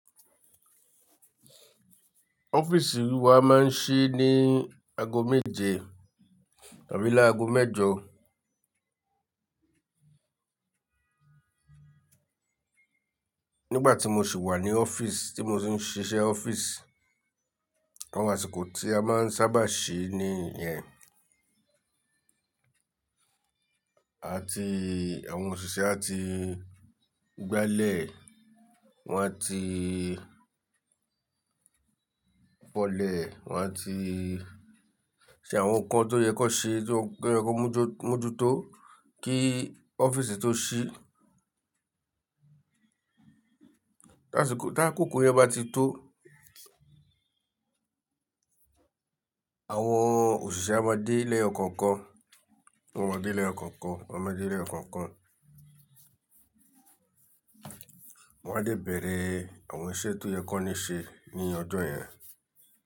Ọ́fíìsì wa máa ń ṣí ní aago méje tàbí lágo mẹ́jọ. Nígbà tí mo sì wà ní ọ́fíìsì tí mo ti ń ṣiṣẹ́ ọ́fíìsì, àwọn àsìkò tí a máa ń sábà ṣí ní ìyẹn. A ti, àwọn òṣìṣẹ́ a ti gbálẹ̀, wọ́n a ti fọ́lẹ̀, wọ́n a ti ṣe àwọn nǹkan tó yẹ kan ṣe, tó yẹ kan mójú tó kí ọ́fíìsì tó ṣí. Tásìkò, tá kòkò yen bá ti tó, àwọn òṣìṣẹ́ á máa dé léyo koọkàn, wọ́n á maa dé léyo kookan, wọ́n á maa dé léyo kookan. Wọ́n á dé bèèrè àwọn iṣẹ́ tó yẹ kan ní ṣe ní ọjọ́ yẹn.